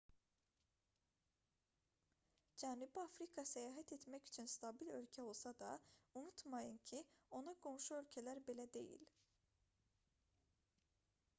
cənubi afrika səyahət etmək üçün stabil ölkə olsa da unutmayın ki ona qonşu ölkələr belə deyil